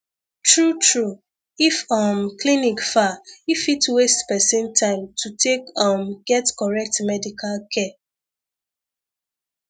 true true if um clinic far e fit waste person time to take um get correct medical care